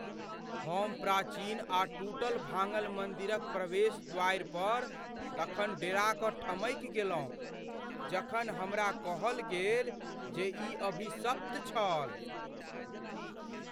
हम प्राचीन आ टूटल भाङ्गल मन्दिरक प्रवेश द्वारि पर तखन डेरा कऽ ठमकि गेलहुँ जखन हमरा कहल गेल जे ई अभिशप्त छल।